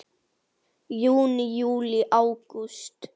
Júní Júlí Ágúst